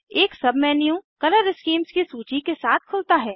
एक submenu colour schemes की सूची के साथ खुलता है